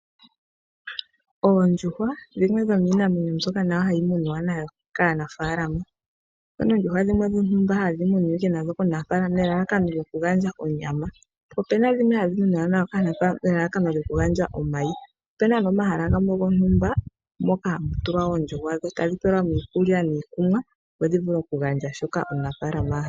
Oondjuhwa dhimwe dhomiinamwenyo mbyoka hayi munwa nayo kaanafalama. Opuna ondjuhwa dhimwe dhontumba hadhi munwa nadho komunafalama dhoku gandja onyama . Po opena dhimwe hadhi muniwa nadho kaanafalama nelalakano lyoku gandja omayi. Opena wo omahala gamwe gontumba moka hamu tulwa oondjuhwa dho tadhi pelwa mo iikulya niikunwa opo dhi vule oku gandja shoka omunafalama ahala.